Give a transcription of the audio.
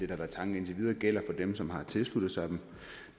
været tanken indtil videre gælder for dem som har tilsluttet sig dem